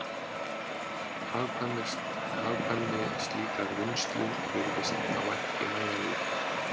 Hagkvæmni slíkrar vinnslu virtist þá ekki nægjanleg.